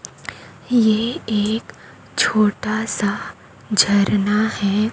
ये एक छोटा सा झरना है।